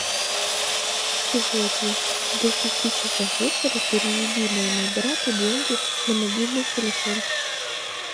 сегодня до пяти часов вечера переведи моему брату деньги на мобильный телефон